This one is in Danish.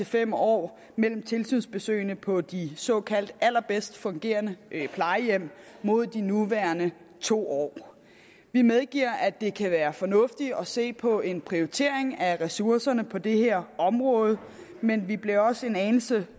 fem år mellem tilsynsbesøgene på de såkaldte allerbedst fungerende plejehjem mod de nuværende to år vi medgiver at det kan være fornuftigt at se på en prioritering af ressourcerne på det her område men vi bliver også en anelse